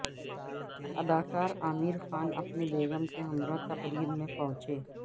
اداکار عامر خان اپنی بیگم کے ہمراہ تقریب میں پہنچے